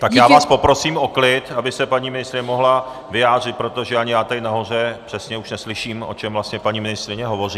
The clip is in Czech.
Tak já vás poprosím o klid, aby se paní ministryně mohla vyjádřit, protože ani já tady nahoře přesně už neslyším, o čem vlastně paní ministryně hovoří.